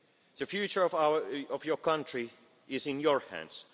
the world. The future of your country is in